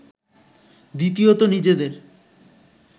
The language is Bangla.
দ্বিতীয়ত নিজেদের